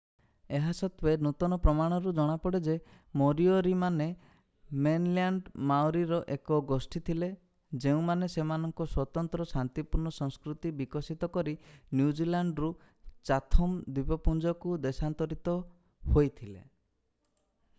ଏହା ସତ୍ତ୍ୱେ ନୂତନ ପ୍ରମାଣରୁ ଜଣାପଡ଼େ ଯେ ମୋରିଓରିମାନେ ମେନଲ୍ୟାଣ୍ଡ ମାଓରିର ଏକ ଗୋଷ୍ଠୀ ଥିଲେ ଯେଉଁମାନେ ସେମାନଙ୍କ ସ୍ୱତନ୍ତ୍ର ଶାନ୍ତିପୂର୍ଣ୍ଣ ସଂସ୍କୃତି ବିକଶିତ କରି ନ୍ୟୁଜିଲ୍ୟାଣ୍ଡରୁ ଚାଥମ୍ ଦ୍ୱୀପପୁଞ୍ଜକୁ ଦେଶାନ୍ତରିତ ହୋଇଥିଲେ